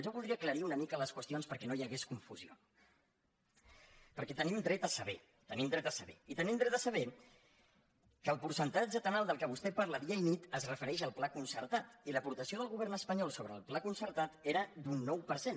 jo voldria aclarir una mica les qüestions perquè no hi hagués confusió perquè tenim dret a saber tenim dret a saber i tenim dret a saber que el percentatge tan alt de què vostè parla dia i nit es refereix al pla concertat i l’aportació del govern espanyol sobre el pla concertat era d’un nou per cent